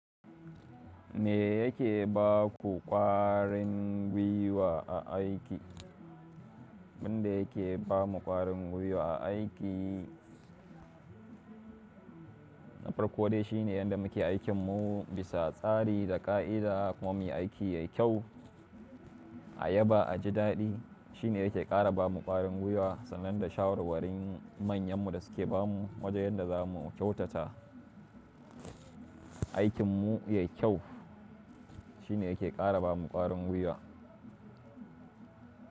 Me yake ba ku ƙwarin gwiwa a aiki? Wanda yake ba mu ƙwarin gui'wa a aiki, na farko dai shine yanda muke aikin mu bisa tsari da ƙa'ida kuma muyi aiki yayi kyau,- ayaba a ji daɗi. Shine yake ƙara ba mu ƙwarin gui'wa sannan da shawarwarin manyan mu da suke ba mu wajen yadda za mu kyautata aikin mu yayi kyau. Shine yake ƙara ba mu ƙwarin gwiwa--